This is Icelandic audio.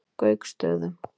Gauksstöðum